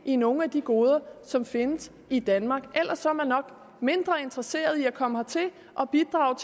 i nogle af de goder som findes i danmark ellers er man nok mindre interesseret i at komme hertil og bidrage